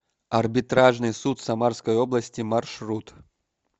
арбитражный суд самарской области маршрут